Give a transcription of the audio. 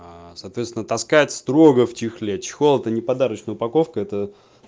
соответственно таскает строго в чехле чехол это не подарочная упаковка это